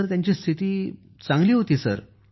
त्यानंतर स्थिती एकदम चांगली होती